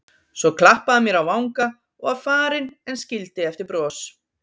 Svo klappaði hann mér á vanga og var farinn en skildi eftir bros.